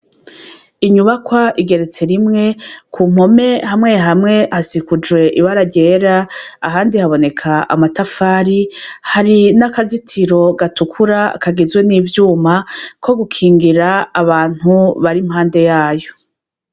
Inyubakwa igeretse rimwe, ku mpome hamwe hamwe hasikujwe ibara ryera, ahandi haboneka amatafari, hari n'akazitiro gatukura kagizwe n'ivyuma ko gukingira abantu bari impande yayo.